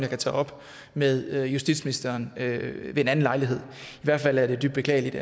kan tage op med justitsministeren ved en anden lejlighed i hvert fald er det dybt beklageligt